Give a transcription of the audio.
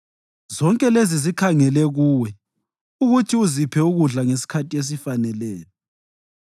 Zonke lezi zikhangele kuwe ukuthi uziphe ukudla ngesikhathi esifaneleyo.